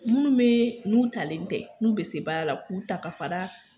Minnu bɛ n'u talen tɛ n'u bɛ se baara la k'u ta ka fara